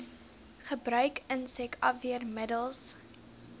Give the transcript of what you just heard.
gebruik insek afweermiddels